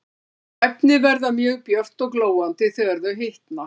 Þau efni verða mjög björt og glóandi þegar þau hitna.